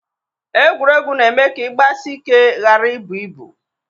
Egwuregwu na-eme ka ị gbasị ike ghara ibụ ibụ